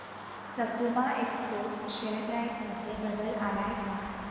सकुमा exports share price मध्ये बदल आलाय का